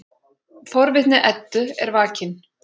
Forvitni Eddu er vakin.